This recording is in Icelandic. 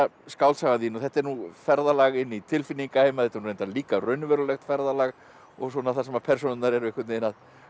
skáldsagan þín og þetta er nú ferðalag inn í tilfinningaheima og þetta er reyndar líka raunverulegt ferðalag og svona þar sem persónurnar eru að